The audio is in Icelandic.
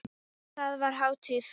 Þar var hátíð.